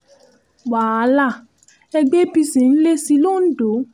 wàhálà ẹgbẹ́ apc ń le sí i londo